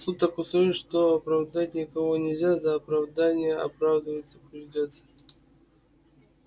суд так устроен что оправдать никого нельзя за оправдание оправдываться придётся